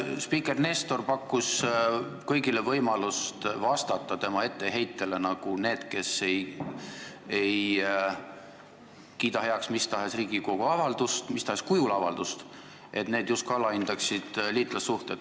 Spiiker Nestor pakkus kõigile võimalust vastata tema etteheitele, justkui need, kes ei kiida heaks mis tahes kujul Riigikogu avaldust, alahindaksid liitlassuhteid.